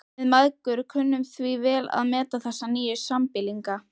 Við mæðgur kunnum því vel að meta þessa nýju sambýlinga.